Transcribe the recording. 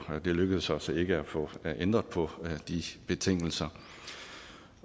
det lykkedes os ikke at få ændret på de betingelser